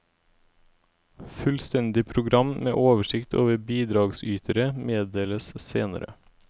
Fullstendig program med oversikt over bidragsytere meddeles senere.